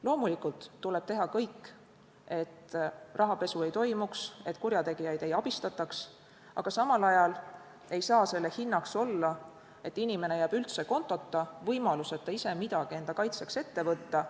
Loomulikult tuleb teha kõik, et rahapesu ei toimuks, et kurjategijaid ei abistataks, aga samal ajal ei saa selle hinnaks olla, et inimene jääb üldse kontota, võimaluseta ise midagi enda kaitseks ette võtta.